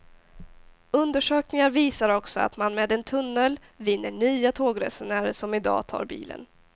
Undersökningar visar också att man med en tunnel vinner nya tågresenärer, som i dag tar bilen.